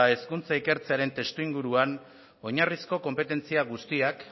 hezkuntza ikertzearen testuinguruan oinarrizko konpetentzia guztiak